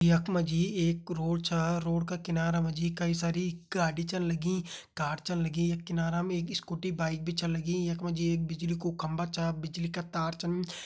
यख मा जी एक रोड छ रोड का किनारा मा जी कई सारी गाड़ी छन लगी कार छन लगी किनारा मा एक स्कूटी बाइक भी छन लगीयख मा जी एक बिजली को खम्बा छ बिजली का तार छन।